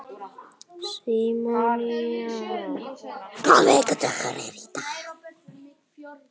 Símona, hvaða vikudagur er í dag?